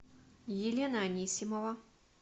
елена анисимова